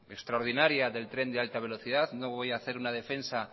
extraordinaria del tren de alta velocidad no voy a hacer una defensa